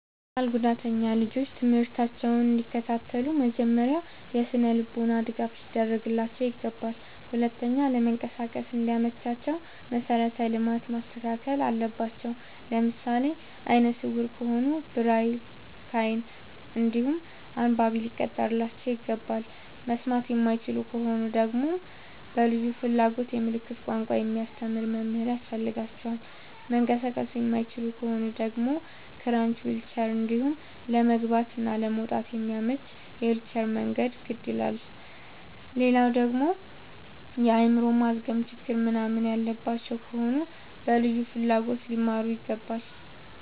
አካል ጉዳተኛ ልጆች ትምህርታቸውን እንዲ ከታተሉ መጀመሪያ የስነልቦና ድገፍ ሊደረግላቸው ይገባል። ሁለተኛ ለመንቀሳቀስ እንዲ መቻቸው መሰረተ ልማት መስተካከል አለበት። ለምሳሌ አይነስውራ ከሆኑ ብሬል ከይን እንዲሁም አንባቢ ሊቀጠርላቸው ይገባል። መስማት የማይችሉ ከሆኑ ደግመሞ በልዩ ፍላጎት የምልክት ቋንቋ የሚያስተምር መምህር ያስፈልጋቸዋል። መንቀሳቀስ የማይችሉ ከሆኑ ደግሞ ክራች ዊልቸር እንዲሁም ለመግባት እና ለመውጣት የሚያመች የዊልቸር መንገድ ግድ ይላላል። ሌላደግሞ የአይምሮ ማዝገም ችግር ምንናምን ያለባቸው ከሆኑ በልዩ ፍላጎት ሊማሩ ይገባል።